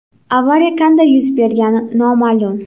Avariya qanday yuz bergani noma’lum.